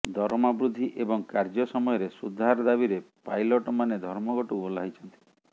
ଦରମା ବୃଦ୍ଧି ଏବଂ କାର୍ଯ୍ୟ ସମୟରେ ସୁଧାର ଦାବିରେ ପାଇଲଟମାନେ ଧର୍ମଘଟକୁ ଓହ୍ଲାଇଛନ୍ତି